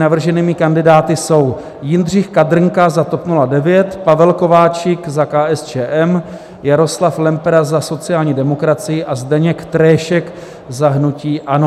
Navrženými kandidáty jsou: Jindřich Kadrnka za TOP 09, Pavel Kováčik za KSČM, Jaroslav Lempera za sociální demokracii a Zdeněk Tréšek za hnutí ANO.